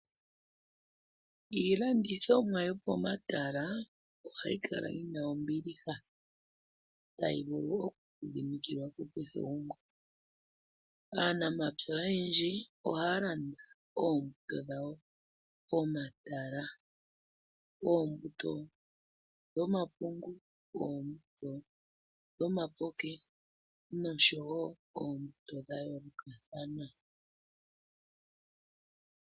Iilandithomwa yopo matala ohayi kala yina ombiliha no hayi vulu okwiidhidhimikilwa kukehe gumwe, naanamapya oyendji ohaalanda oombuto dhawo pomatala ngaashi oombuto dhomapungu, dhomapoke noonkwawo dhayoolokathana.